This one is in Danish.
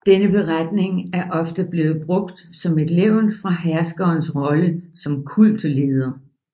Denne beretning er ofte blevet brugt som et levn fra herskerens rolle som kultleder